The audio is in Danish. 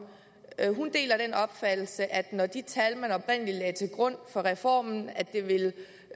hun deler den opfattelse at når de tal man oprindelig lagde til grund for reformen altså at det ville